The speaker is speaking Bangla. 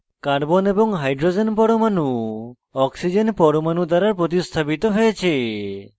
carbon এবং hydrogen পরমাণু oxygen পরমাণু দ্বারা প্রতিস্থাপিত হয়েছে